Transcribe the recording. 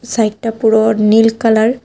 সাইডটা পুরো নীল কালার ।